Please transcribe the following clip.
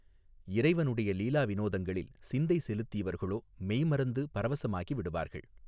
இறைவனுடைய லீலா வினோதங்களில் சிந்தை செலுத்தியவர்களோ மெய்மறந்து பரவசமாகி விடுவார்கள்.